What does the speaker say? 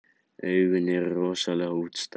Augun eru rosalega útstæð.